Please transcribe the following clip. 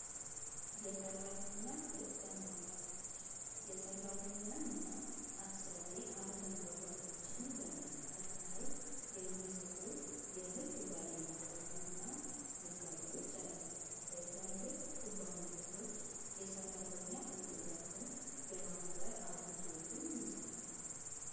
የሰራተኛ ሕግ አማካሪዎች የሰራተኛ እና አሰሪ አለመግባባቶችን በመፍታት ላይ የሚሰሩ የሕግ ባለሞያና ነጋዴዎች አሉ ለትላልቅ ኩባንያዎች የሠራተኛ ሕግጋትን የማክበር አገልግሎትም ይሰጣሉ፡፡